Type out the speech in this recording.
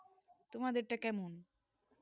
তোমার দেড় তা কেমন